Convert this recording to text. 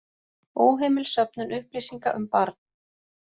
Óheimil söfnun upplýsinga um barn